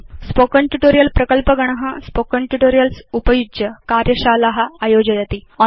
spoken tutorial प्रकल्पगण spoken tutorials उपयुज्य कार्यशाला आयोजयति